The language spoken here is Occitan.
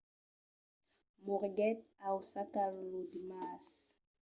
moriguèt a osaka lo dimars